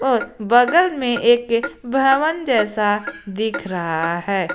और बगल में एक भवन जैसा दिख रहा है।